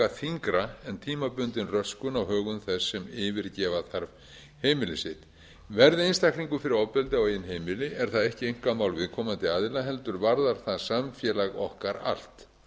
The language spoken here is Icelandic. þyngra en tímabundin röskun á högum þess sem yfirgefa þarf heimili sitt verði einstaklingur fyrir ofbeldi á eigin heimili er það ekki einkamál viðkomandi aðila heldur varðar það samfélag okkar allt